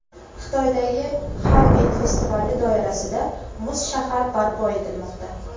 Xitoydagi Xarbin festivali doirasida muz shahar barpo etilmoqda .